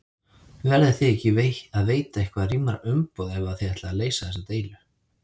Verðiði ekki að veita eitthvað rýmra umboð ef að þið ætlið að leysa þessa deilu?